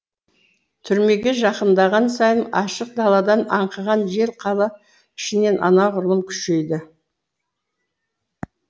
түрмеге жақындаған сайын ашық даладан аңқыған жел қала ішінен анағұрлым күшейді